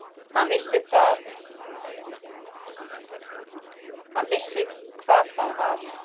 Hann vissi hvað það var.